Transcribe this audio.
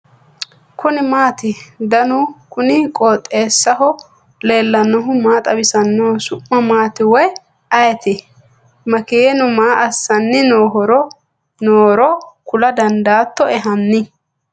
kuni maati ? danu kuni qooxeessaho leellannohu maa xawisanno su'mu maati woy ayeti ? makeenu maa assanni noohoro kula dandaattoe hanni ?